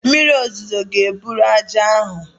Mmiri ozuzo ga-eburu ájá ahụ